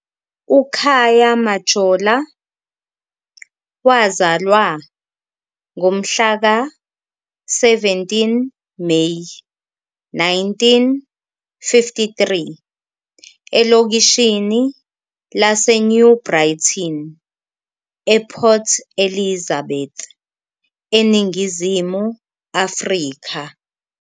UKhaya Majola wazalwa ngomhlaka 17 Meyi 1953 elokishini laseNew Brighton ePort Elizabeth, eNingizimu Afrika.